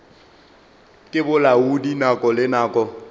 ke bolaodi nako le nako